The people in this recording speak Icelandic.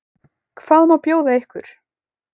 Hvað má bjóða ykkur?